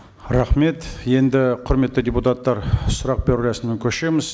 рахмет енді құрметті депутаттар сұрақ беру рәсіміне көшеміз